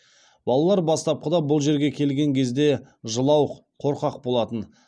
балалар бастапқыда бұл жерге келген кезде жылауық қорқақ болатын